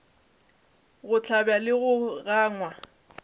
go hlabja le go gangwa